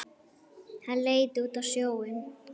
Hann leit út á sjóinn.